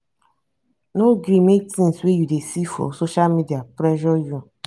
no gree make things wey you dey see for for social media pressure you.